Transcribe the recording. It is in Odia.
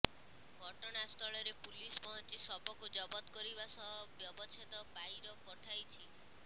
ଘଟଣାସ୍ଥଳରେ ପୁଲିସ ପହଞ୍ଚି ଶବକୁ ଜବତ କରିବା ସହ ବ୍ୟବଚ୍ଛେଦ ପାଇର୍ ପଠାଇଛି